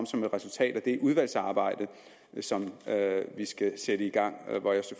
som et resultat af det udvalgsarbejde som vi skal sætte i gang